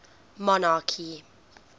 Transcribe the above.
monarchy